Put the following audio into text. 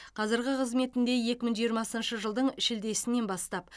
қазіргі қызметінде екі мың жиырмасыншы жылдың шілдесінен бастап